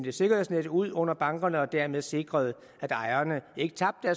et sikkerhedsnet ud under bankerne og dermed sikrede at ejerne ikke tabte